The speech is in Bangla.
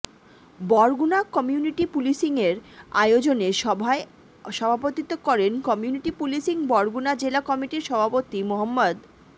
বরগুনা কমিউনিটি পুলিশিংয়ের আয়োজনে সভায় সভাপতিত্ব করেন কমিউনিটি পুলিশিং বরগুনা জেলা কমিটির সভাপতি মো